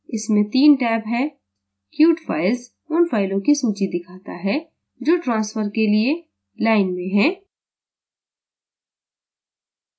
इसमें 3 टैब हैं: queued files – उन फ़ाइलों की सूची दिखाता है जो transfer के लिए queued में हैं